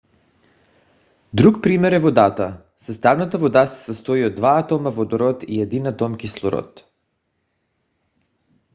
друг пример е водата. съставната вода се състои от два атома водород и един атом кислород